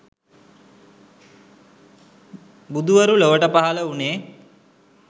බුදුවරු ලොවට පහළ වුණේ